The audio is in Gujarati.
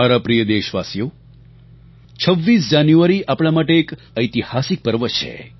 મારા પ્રિય દેશવાસીઓ 26 જાન્યુઆરી આપણા માટે એક ઐતિહાસિક પર્વ છે